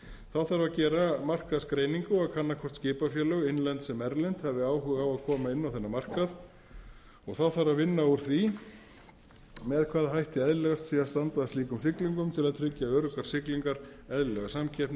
þá þarf að gera markaðsgreiningu og kanna hvort skipafélög innlend sem erlend hafi áhuga á að koma inn á þennan markað þá þarf að vinna úr því með hvaða hætti eðlilegast sé að standa að slíkum siglingum til að tryggja öruggar siglingar eðlilega samkeppni nýsköpunarsjónarmið